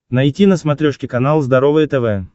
найти на смотрешке канал здоровое тв